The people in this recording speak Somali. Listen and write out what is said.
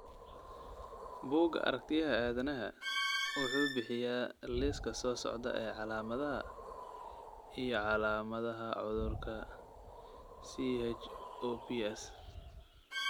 Bugga Aartigayaha Aadanaha wuxuu bixiyaa liiska soo socda ee calaamadaha iyo calaamadaha cudurka CHOPS.